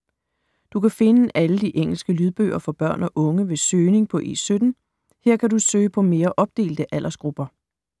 Du kan finde alle de engelske lydbøger for børn og unge ved søgning på E17. Her kan du søge på mere opdelte aldersgrupper.